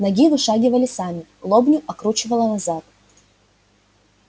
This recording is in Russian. ноги вышагивали сами лобню откручивало назад